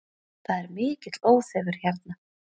Það er mikill óþefur hérna